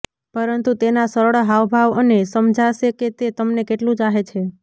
પરંતુ તેના સરળ હાવભાવ તમને સમજાશે કે તે તમને કેટલું ચાહે છે